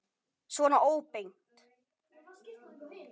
Svona óbeint.